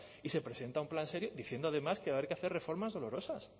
y se presenta un plan serio diciendo además que va a haber que hacer reformas dolorosas